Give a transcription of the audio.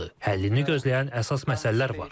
Həllini gözləyən əsas məsələlər var.